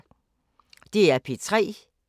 DR P3